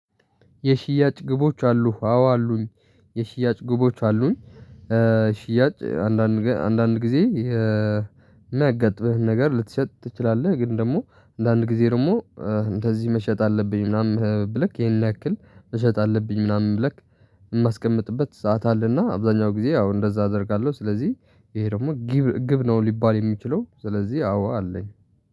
የሽያጭ ግቦች አሉህ? አዎ አሉኝ። የሽያጭ ግቦች አሉኝ። ሽያጭ አንዳንድ ጊዜ አንዳንድ ጊዜ የሚያጋጥምህን ነገር ልትሸጥ ትችላለህ። ግን ደግሞ አንዳንድ ጊዜ ደግሞ እንደዚህ መሸጥ አለብኝ ምናምን ብለክ ይሄን ያክል መሸጥ አለብኝ ምናምን ብለክ። የማስቀምጥበት ሰዓት አለና አብዛኛው ጊዜ አዎ እንደዛ አደርጋለሁ። ስለዚህ ይሄ ደግሞ ጊብ ግብ ነው ሊባል የሚችለው ስለዚህ አዎ አለኝ